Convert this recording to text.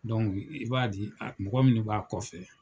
i b'a di mɔgɔ minnu b'a kɔfɛ.